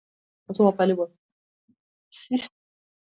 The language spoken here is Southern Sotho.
Ha o so bapale bolo .